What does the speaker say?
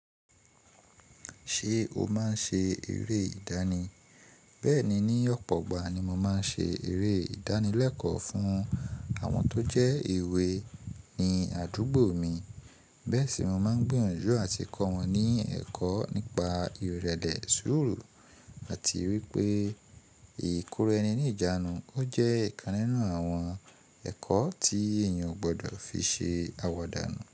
Ṣé o máa ń ṣe eré ìdánì? Bẹ́ẹ̀ni, ní ọ̀pọ̀ ọgbà ni mo máa ń ṣe eré ìdánì lẹ́kọ̀ọ́ fún àwọn tó jẹ́ èwe ní àdúgbò mi. Bẹ́ẹ̀ sì mo máa ń gbìyànjú àti kọ́ wọn ní ẹ̀kọ́ nípa ìrẹ̀lẹ̀ sùúrù àti wípé ìkora ẹni ní ìjánu. Ó jẹ́ ìkan nínú àwọn ẹ̀kọ́ tí èèyàn ò gbọ́dọ̀ fi ṣe àwàdà nu.